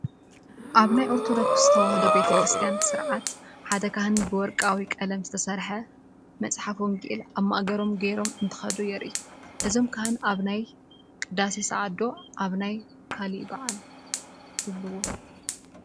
ኣብ ናይ ኦርቶዶክስ ተዋህዶ ቤተ ክርስትያን ስርዓት ሓደ ካህን ብወርቃዊ ቀለም ዝተሰርሐ መፅሓፍ ወንጌል ኣብ ማእገሮም ገይሮም እንትኸዱ የርኢ፡፡ እዞም ካህን ኣብ ናይ ቅዳሴ ሰዓት ዶ ኣብ ናይ ካሊእ ባዓል ትብልዎ?